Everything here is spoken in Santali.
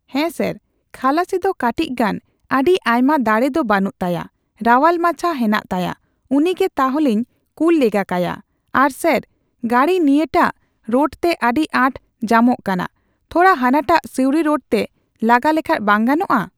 ᱦᱮᱸ ᱥᱟᱨ, ᱠᱷᱟᱞᱟᱥᱤ ᱫᱚ ᱠᱟᱴᱤᱪ ᱜᱟᱱ ᱟᱹᱰᱤ ᱟᱭᱢᱟ ᱫᱟᱲᱮ ᱫᱚ ᱵᱟᱹᱱᱩᱜ ᱛᱟᱭᱟ᱾ ᱨᱟᱣᱟᱞ ᱢᱟᱪᱷᱟ ᱦᱮᱱᱟᱜ ᱛᱟᱭᱟ ᱾ ᱩᱱᱤ ᱜᱮ ᱛᱟᱞᱦᱮᱧ ᱠᱩᱞ ᱞᱮᱜᱟ ᱠᱟᱭᱟ᱾ ᱟᱨ ᱥᱟᱨ, ᱜᱟᱹᱰᱤ ᱱᱤᱭᱟᱹᱴᱟᱜ ᱨᱳᱰᱛᱮ ᱟᱹᱰᱤ ᱟᱸᱴ ᱡᱟᱢᱚᱜ ᱠᱟᱱᱟ, ᱛᱷᱚᱲᱟ ᱦᱟᱱᱟᱴᱟᱜ ᱥᱤᱣᱩᱲᱤ ᱨᱳᱰ ᱛᱮ ᱞᱟᱜᱟ ᱞᱮᱠᱷᱟᱱ ᱵᱟᱝ ᱜᱟᱢᱚᱜᱼᱟ ?